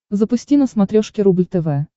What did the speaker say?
запусти на смотрешке рубль тв